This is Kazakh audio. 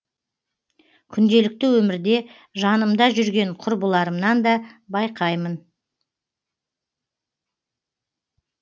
күнделікті өмірде жанымда жүрген құрбыларымнан да байқаймын